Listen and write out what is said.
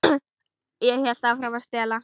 Ég hélt áfram að stela.